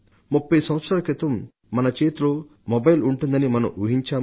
30 సంవత్సరాల క్రితం మన చేతిలో మొబైల్ ఉంటుందని మనం ఊహించామా